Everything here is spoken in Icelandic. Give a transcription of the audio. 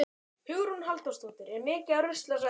Hugrún Halldórsdóttir: Er mikið af rusli á svæðinu?